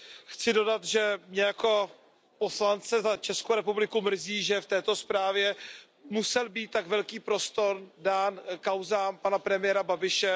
Chci dodat, že mě jako poslance za Českou republiku mrzí, že v této zprávě musel být dán tak velký prostor kauzám pana premiéra Babiše.